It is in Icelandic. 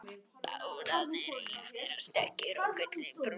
Bátarnir eiga að vera stökkir og gullinbrúnir.